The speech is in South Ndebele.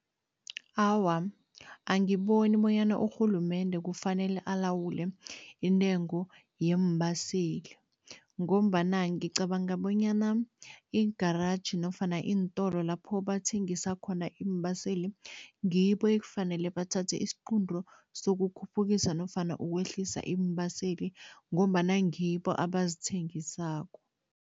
Awa, angiboni bonyana urhulumende kufanele alawule intengo yeembaseli ngombana ngicabanga bonyana i-garage nofana iintolo lapho bathengisa khona iimbaseli, ngibo ekufanele bathathe isiqunto sokuphukisa nofana ukwehlisa iimbaseli ngombana ngibo abazithengisako.